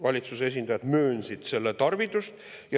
Valitsuse esindajad hakkasid möönma selle tarvidust.